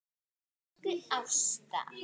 Elsku Ásta.